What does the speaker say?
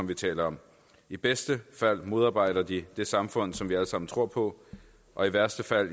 vi taler om i bedste fald modarbejder de det samfund som vi alle sammen tror på og i værste fald